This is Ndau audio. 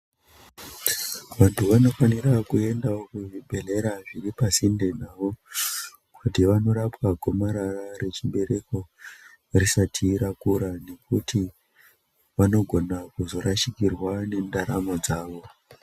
Vanthu vanofanira kuendawo kuzvibhedhlera zviri pasinde navo ,kuti vanorapwa gomarara rechibereko risati rakura, nekuti vanogona kuzorashikirwa nendaramo dzawo.